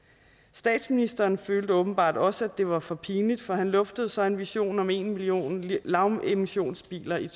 statsministeren følte åbenbart også at det var for pinligt for han luftede så en vision om en million lavemissionsbiler i